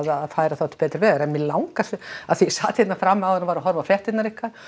að færa það til betri vegar en mig langar svo af því ég sat hérna frammi áðan og var að horfa á fréttirnar ykkar